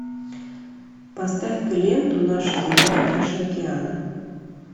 поставь ка ленту наша земля наши океаны